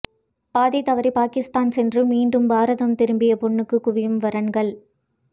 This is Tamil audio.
பாதை தவறி பாகிஸ்தான் சென்று மீண்டும் பாரதம் திரும்பிய பெண்ணுக்கு குவியும் வரன்கள்